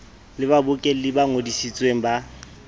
le babokelli ba ngodisitsweng ba